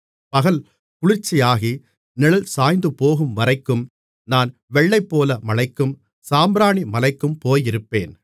பகல் குளிர்ச்சியாகி நிழல் சாய்ந்துபோகும்வரைக்கும் நான் வெள்ளைப்போளமலைக்கும் சாம்பிராணிமலைக்கும் போயிருப்பேன்